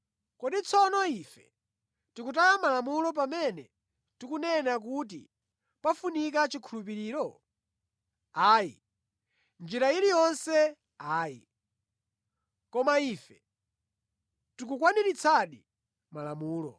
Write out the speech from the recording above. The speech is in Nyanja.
Kodi tsono ife, tikutaya Malamulo pamene tikunena kuti pafunika chikhulupiriro? Ayi. Mʼnjira iliyonse ayi! Komatu ife tikukwaniritsadi Malamulo.